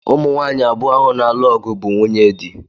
Ụmụnwaanyị abụọ ahụ na-alụ ọgụ bụ nwunyedi